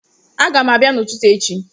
Agam abia n'ututu echi